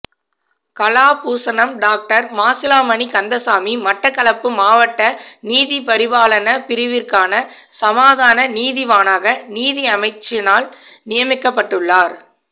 Kalabhushanam doctor Masilamani Kandasamy Mattakkalappu மாவட்ட நீதிபரிபாலன பிரிவிற்கான சமாதான நீதிவானாக நீதியமைச்சினால் நியமிக்கப்பட்டுள்ளார்